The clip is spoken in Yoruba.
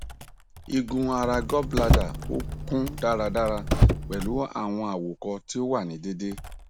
igun ara gall bladder o kun daradara pẹlu awọn àwòkọ ti o wa ni deede